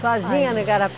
Sozinha no